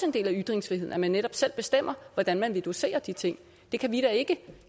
en del af ytringsfriheden at man netop selv bestemmer hvordan man vil dosere de ting det kan vi da ikke